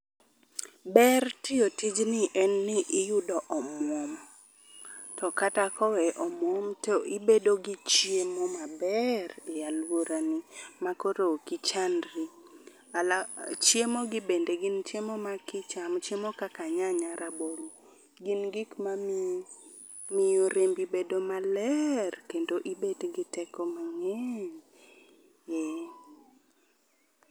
Ber tiyo tijni en ni iyudo omwom. To kata koweyo omwom to ibedo gi chiemo maber e alworani makoro ok ichandri. Chiemogi bende gin chiemo ma kichamo, chiemo kaka nyanya, rabolo, gin gik mamiyi ,miyo rembi bedo maler kendo ibet gi teko mang'eny.